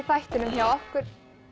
þættinum hjá okkur